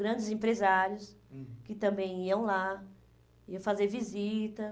Grandes empresários, hum, que também iam lá, iam fazer visita.